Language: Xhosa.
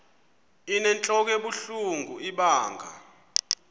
inentlok ebuhlungu ibanga